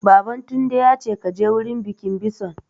Baban Tunde ya ce 'Ka je wurin bikin bison'!